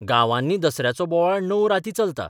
गांवांनी दसऱ्याचो बोवाळ णव राती चलता.